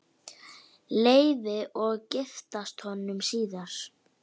Leifi og giftast honum síðar.